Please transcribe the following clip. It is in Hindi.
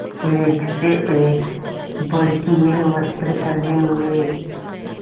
एक से एक भड़कीले वस्त्र पहने हुए